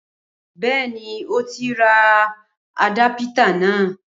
Bẹẹni, Ó ti rà àdápítà na